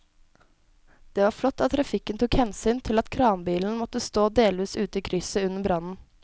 Det var flott at trafikken tok hensyn til at kranbilen måtte stå delvis ute i krysset under brannen.